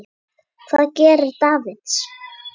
Hvað gerir Davids?